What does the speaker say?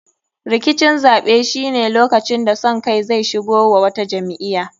Rikicin zaɓe shine lokacin da son kai zai shigo wa wata jam'iya.